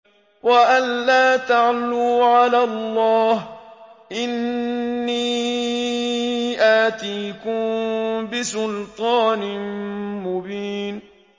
وَأَن لَّا تَعْلُوا عَلَى اللَّهِ ۖ إِنِّي آتِيكُم بِسُلْطَانٍ مُّبِينٍ